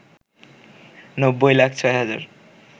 ৯০ লাখ ৬ হাজার